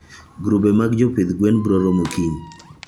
grube mag jopidh gwen broromo kiny.